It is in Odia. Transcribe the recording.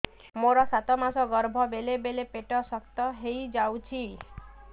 ମୋର ସାତ ମାସ ଗର୍ଭ ବେଳେ ବେଳେ ପେଟ ଶକ୍ତ ହେଇଯାଉଛି